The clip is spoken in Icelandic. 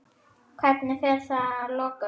Hvernig fer þetta að lokum?